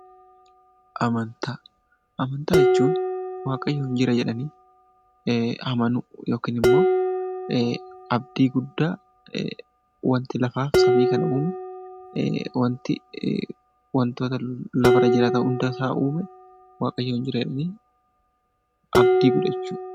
Amantaa jechuun waaqayyo ni jira jedhanii amanuu yookiin immoo abdii guddaa wanti lafaa fi samii kana uume wantoota lafarra jiraatan hundasaa uume waaqayyo jira jedhanii abdachuudha.